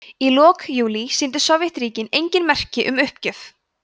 í lok júlí sýndu sovétríkin engin merki um uppgjöf